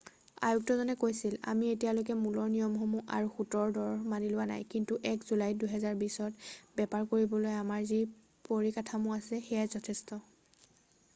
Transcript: "আয়ুক্তজনে কৈছিল "আমি এতিয়ালৈকে মূলৰ নিয়মসমূহ আৰু সূতৰ দৰ মানি লোৱা নাই কিন্তু 1 জুলাই 2020ত বেপাৰ কৰিবলৈ আমাৰ যি পৰিকাঠামো আছে সেয়াই যথেষ্ট।""